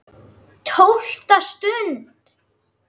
TÓLFTA STUND